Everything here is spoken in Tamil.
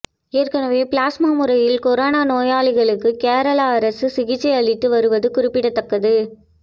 ஏற்கனவே பிளாஸ்மா முறையில் கொரோனா நோயாளிகளுக்கு கேரள அரசு சிகிச்சை அளித்து வருவது குறிப்பிடத்தக்கது